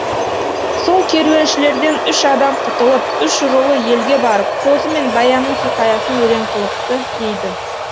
сол керуеншілерден үш адам құтылып үш рулы елге барып қозы мен баянның хикаясын өлең қылыпты дейді